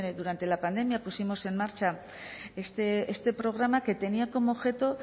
durante la pandemia pusimos en marcha este programa que tenía como objeto